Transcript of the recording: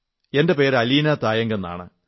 എന്റെ പേര് അലീനാ തായംഗ് എന്നാണ്